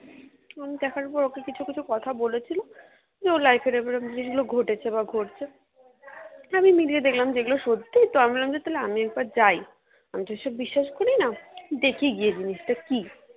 আমি দেখার পর ওকে কিছু কিছু কথা বলেছিলো যে ওর life এ এরকম জিনিসগুলো ঘটেছে বা ঘটছে তা আমি মিলিয়ে দেখলাম যে এগুলো সত্যি তো আমি ভাবলাম যে আমিও একবার যাই আমি তো এসব বিশ্বাস করি না দেখি গিয়ে জিনিসটা কি?